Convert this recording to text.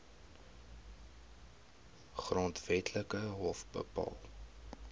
grondwetlike hof bepaal